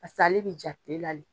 ale bɛ ja tile la le.